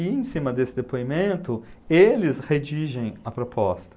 E em cima desse depoimento, eles redigem a proposta.